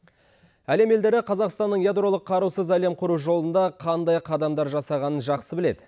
әлем елдері қазақстанның ядролық қарусыз әлем құру жолында қандай қадамдар жасағанын жақсы біледі